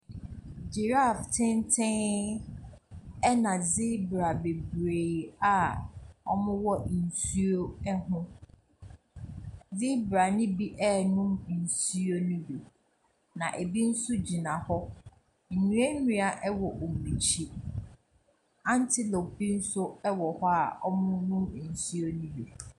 Giraffe tenten, ɛna zebra bebree a wɔwɔ nsuo ho. Zebra no bi renom nsuo no bi. Na ɛbi nso gyina hɔ. Nnua nnua wɔ wɔn akyi. Antelope bi nso wɔ hɔ a wɔrenom nsuo no bi.